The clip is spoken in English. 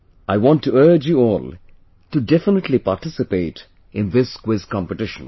I want to urge you all to definitely participate in this quiz competition